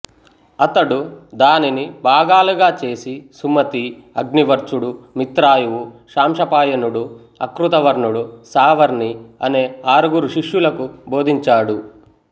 అతడు దానిని భాగాలుగా చేసి సుమతి అగ్నివర్చుడు మిత్రాయువు శాంశపాయనుడు అకృతవర్ణుడు సావర్ణి అనే ఆరుగురు శిష్యులకు బోధించాడు